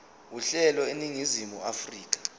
uhlelo eningizimu afrika